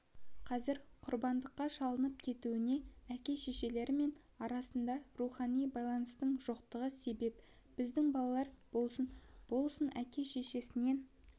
қазір құрбандыққа шалынып кетуіне әке-шешелерімен арасында рухани байланыстың жоқтығы себеп біздің балалар болсын болсын әке-шешесінен